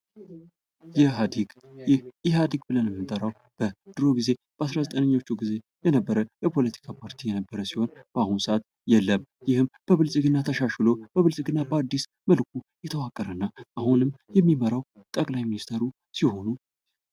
ኢህአዴግ ይህ ኢህአዴግ ብለን የምንጠራው በድሮ ጊዜ በአስራ ዘጠነኛው ጊዜ የነበረ የፖለቲካ ፓርቲ የነበረ ሲሆን፤ በአሁኑ ሰዓት የለም ብልጽግና ተሻሽሎ ብልጽግና በአዲስ መልኩ የተዋቀረው እና አሁንም የሚመራው ጠቅላይ ሚኒስትሩ ሲሆኑ፤...